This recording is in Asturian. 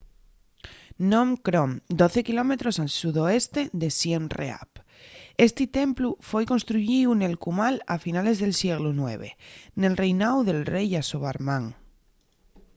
phnom krom 12 km al sudoeste de siem reap esti templu foi construyíu nel cumal a finales del sieglu ix nel reináu del rei yasovarman